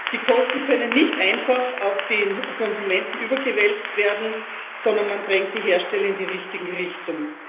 Die Kosten können nicht einfach auf den Konsumenten überwälzt werden, sondern man drängt die Hersteller in die richtige Richtung.